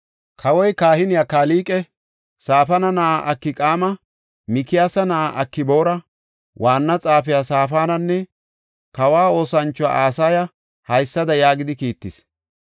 Kawoy, kahiniya Kalqe, Safaana na7aa Akqaama, Mikiyaasa na7aa Akboora, waanna xaafiya Saafananne kawa oosanchuwa Asaya haysada yaagidi kiittis.